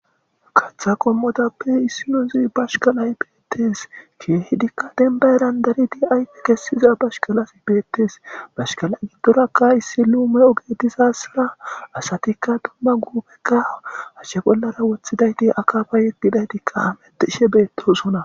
Kaththa qommotappe issinozi bashshkkalay beettes kehidikka demba heran kehid darid ayfe kesiza bashkalaz betes iza gidorkka issi lume ogey dizayissa asatika duma gufekka hashe bolla woththidayt akafakka yigidaytkka bishe betosona b